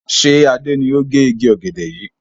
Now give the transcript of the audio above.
Ṣé Adé ni ó gẹ igi ọ̀gẹ̀dẹ̀ yìí?